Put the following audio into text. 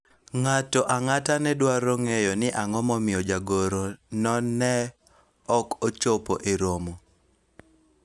ng'ato ang'ata ne dwaro ng'eyo ni ang'o momiyo jagoro no ne ok ochopo e romo